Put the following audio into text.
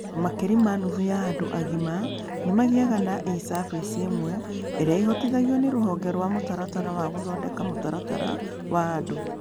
Makĩria ma nuthu ya andũ agima nĩ magĩaga na e-service ĩmwe, ĩrĩa ĩhotithagio nĩ Rũhonge rwa Mũtaratara wa Gũthondeka Mũtaratara wa Andũ.